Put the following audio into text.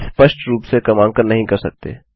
आप स्पष्ट रूप से क्रमांकन नहीं कर सकते